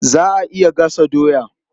Za a iya gasa doya.